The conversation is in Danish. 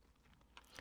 DR1